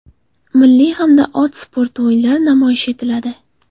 Milliy hamda ot sporti o‘yinlari namoyish etiladi.